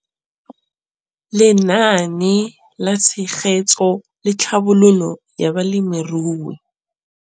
Lenaane la Tshegetso le Tlhabololo ya Balemirui